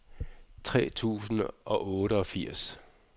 tre tusind og otteogfirs